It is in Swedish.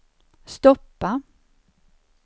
stoppa